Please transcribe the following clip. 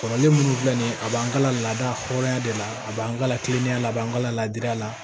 Kɔrɔlen munnu filɛ nin ye a b'an ka laada hɔrɔnya de la a b'an ka kiliyan la a b'an ka ladilan la